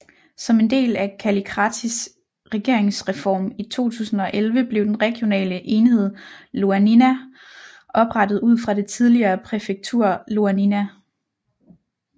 Som en del af Kallikratis regeringsreform i 2011 blev den regionale enhed Ioannina oprettet ud fra det tidligere præfektur Ioannina